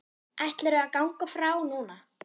Ætlarðu að ganga frá núna?